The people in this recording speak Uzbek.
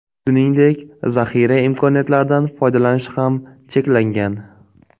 Shuningdek, zaxira imkoniyatlaridan foydalanish ham cheklangan.